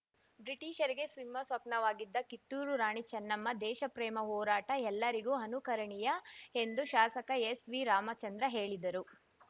ಬ್ರಿಟಿಷರಿಗೆ ಸಿಂಹಸ್ವಪ್ನವಾಗಿದ್ದ ಕಿತ್ತೂರು ರಾಣಿ ಚೆನ್ನಮ್ಮ ದೇಶಪ್ರೇಮ ಹೋರಾಟ ಎಲ್ಲರಿಗೂ ಅನುಕರಣೀಯ ಎಂದು ಶಾಸಕ ಎಸ್‌ವಿರಾಮಚಂದ್ರ ಹೇಳಿದರು